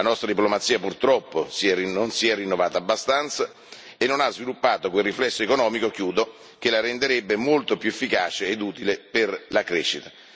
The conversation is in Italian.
La nostra diplomazia, purtroppo, non si è rinnovata abbastanza e non ha sviluppato quel riflesso economico che la renderebbe molto più efficace ed utile per la crescita.